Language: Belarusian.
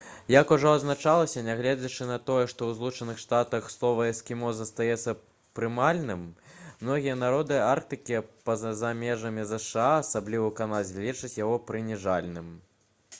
як ужо адзначалася нягледзячы на тое што ў злучаных штатах слова «эскімос» застаецца прымальным многія народы арктыкі па-за межамі зша асабліва ў канадзе лічаць яго прыніжальным